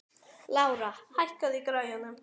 Lára, hækkaðu í græjunum.